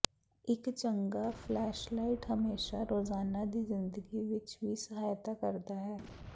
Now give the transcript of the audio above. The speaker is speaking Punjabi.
ਇੱਕ ਚੰਗਾ ਫਲੈਸ਼ਲਾਈਟ ਹਮੇਸ਼ਾ ਰੋਜ਼ਾਨਾ ਦੀ ਜ਼ਿੰਦਗੀ ਵਿਚ ਵੀ ਸਹਾਇਤਾ ਕਰਦਾ ਹੈ